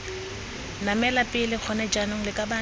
namela pele gone jaanong lakabane